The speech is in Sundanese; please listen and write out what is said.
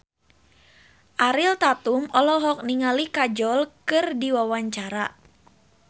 Ariel Tatum olohok ningali Kajol keur diwawancara